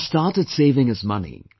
He has started saving his money